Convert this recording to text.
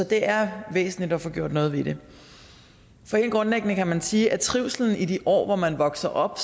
det er væsentligt at få gjort noget ved det helt grundlæggende kan man sige at trivslen i de år hvor man vokser op